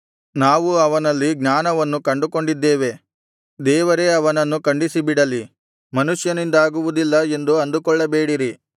ನಾವು ಅವನಲ್ಲಿ ಜ್ಞಾನವನ್ನು ಕಂಡುಕೊಂಡಿದ್ದೇವೆ ದೇವರೇ ಅವನನ್ನು ಖಂಡಿಸಿಬಿಡಲಿ ಮನುಷ್ಯನಿಂದಾಗುವುದಿಲ್ಲ ಎಂದು ಅಂದುಕೊಳ್ಳಬೇಡಿರಿ